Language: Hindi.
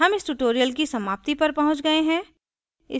हम इस tutorial की समाप्ति पर पहुँच गए हैं